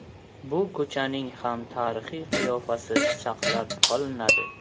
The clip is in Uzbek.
Bu ko‘chaning ham tarixiy qiyofasi saqlab qolinadi.